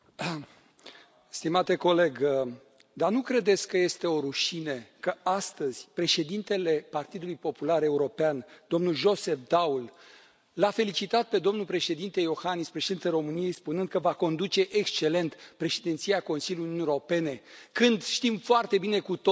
Stimate coleg, dar nu credeți că este o rușine că, astăzi, președintele Partidului Popular European, domnul Joseph Daul, l a felicitat pe domnul președinte Iohannis, președintele României, spunând că va conduce excelent Președinția Consiliului Uniunii Europene, când știm foarte bine cu toții că